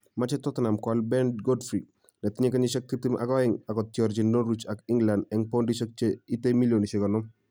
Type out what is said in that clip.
Machei Tottenham koal Ben Godfrey netinye kenyisiek tiptem ak oeng akotiorchin Norwich ak England eng poundishek che itei milionisiek konom